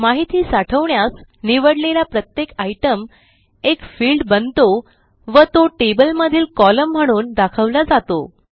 माहिती साठवण्यास निवडलेला प्रत्येक आयटीईएम एक फिल्ड बनतो व तो टेबलमधील कोलम्न म्हणून दाखवला जातो